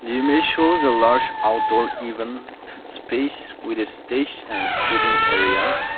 the image shows a lush outdoor event space with a stage and sitting area.